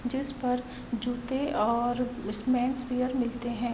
'' जिस पर जूते और स्मेंस वियर मिलते हैं। ''